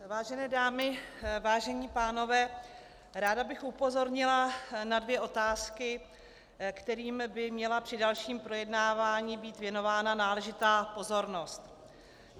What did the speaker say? Vážené dámy, vážení pánové, ráda bych upozornila na dvě otázky, kterým by měla při dalším projednávání být věnována náležitá pozornost.